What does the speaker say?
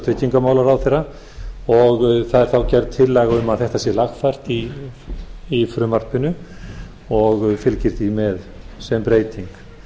tryggingamálaráðherra og það er þá gerð tillaga um að þetta sé lagfært í frumvarpinu og fylgir því með sem breyting